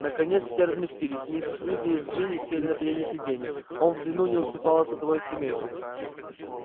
наконец все разместились миссис уизли с джинни сели на переднее сиденье он в длину не уступало садовой скамейке